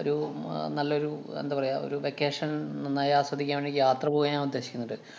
ഒരു മ~ നല്ലയൊരു അഹ് എന്താ പറയുക ഒരു vacation നന്നായി ആസ്വദിക്കാന്‍ വേണ്ടി യാത്ര പോകാന്‍ ഞാന്‍ ഉദ്ദേശിക്കുന്നുണ്ട്.